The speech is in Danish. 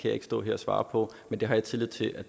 ikke stå her og svare på men det har jeg tillid til at